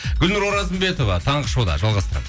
гүлнұр оразымбетова таңғы шоуда жалғастырамыз